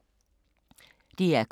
DR K